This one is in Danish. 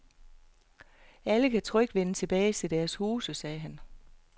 Alle kan trygt vende tilbage til deres huse, sagde han.